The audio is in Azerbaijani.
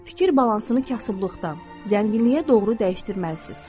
Fikir balansını kasıblıqdan, zənginliyə doğru dəyişdirməlisiz.